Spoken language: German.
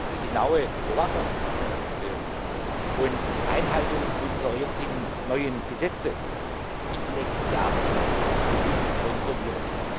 Die genaue Überwachung und die Einhaltung unserer jetzigen neuen Gesetze in den nächsten Jahren ist zu kontrollieren.